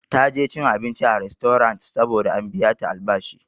Ta je cin abinci a rastorant saboda an biya ta albashi.